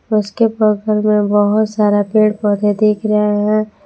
उसके बगल में बहुत सारा पेड़ पौधे दिख रहे है।